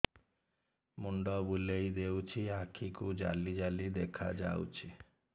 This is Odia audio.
ମୁଣ୍ଡ ବୁଲେଇ ଦେଉଛି ଆଖି କୁ ଜାଲି ଜାଲି ଦେଖା ଯାଉଛି